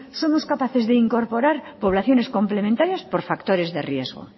somos capaces de incorporar poblaciones complementarias por factores de riesgo